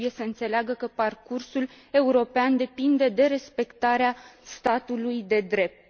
Ei trebuie să înțeleagă că parcursul european depinde de respectarea statului de drept.